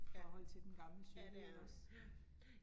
Ja, ja, det er den, ja ja